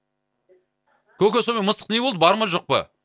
көке сомен мысық не болды бар ма жоқ па